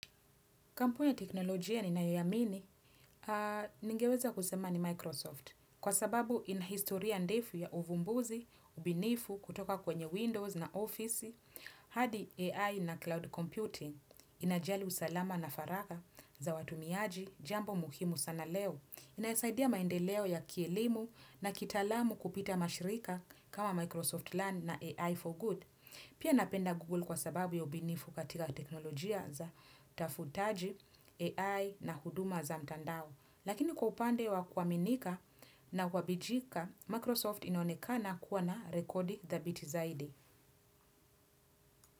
Kampuni ya teknolojia ninayo iamini, ningeweza kusema ni Microsoft kwa sababu inahistoria ndefu ya uvumbuzi, ubinifu kutoka kwenye Windows na Office, hadi AI na cloud computing, inajali usalama na faraka za watumiaji, jambo muhimu sana leo, inasaidia maendeleo ya kielimu na kitalamu kupita mashirika kama Microsoft Learn na AI for Good. Pia napenda Google kwa sababu ya ubunifu katika teknolojia za tafutaji, AI na huduma za mtandao. Lakini kwa upande wa kuaminika na kuwabijika, Microsoft inonekana kuwa na rekodi thabiti zaidi.